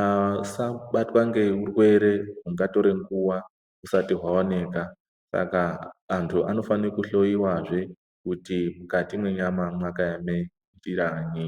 asabatwa ngeurwere hungatore nguva husati hwaoneka. Saka antu anofanire kuhloiwazve kuti mukati menyama makaeme njiranyi.